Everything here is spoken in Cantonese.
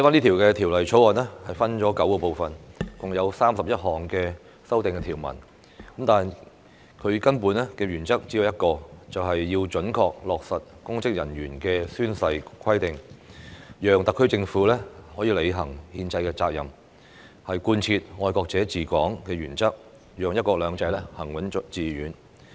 《條例草案》分成9個部分，共有31項修訂條文，但根本原則只有一個，就是要準確落實公職人員的宣誓規定，讓特區政府履行憲制責任，貫徹"愛國者治港"的原則，讓"一國兩制"行穩致遠。